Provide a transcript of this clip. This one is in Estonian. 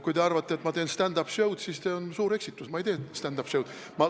Kui te arvate, et ma teen stand-up show'd, siis see on suur eksitus, ma ei tee stand-up show'd.